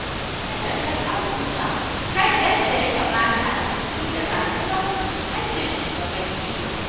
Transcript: Wayar da kan al'umma kan yadda ya kamata su tafi da rayuwarsu haƙƙin shuwagabanni ne.